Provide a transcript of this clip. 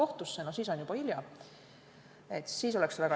Kristina Šmigun-Vähi, palun!